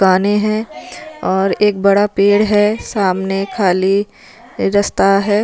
दाने है और एक बड़ा पेड़ है सामने खाली रस्ता है।